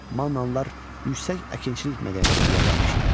Mannalılar yüksək əkinçilik mədəniyyətinə yiyələnmişdilər.